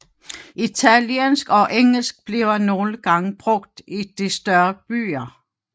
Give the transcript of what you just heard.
Italiensk og engelsk bliver nogle gange brugt i de større byer